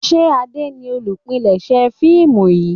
ṣe Ade ní olùpilèsè fíìmù yí?